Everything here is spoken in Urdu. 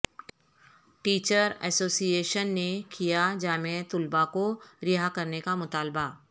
ٹیچر ایسوسی ایشن نے کیا جامعہ طلبہ کو رہا کرنے کا مطالبہ